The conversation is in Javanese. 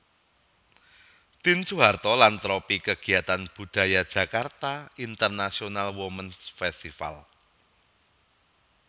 Tien Soeharto lan tropi kegiatan budaya Jakarta International Womens Festival